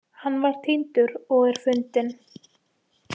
Hann var týndur og er fundinn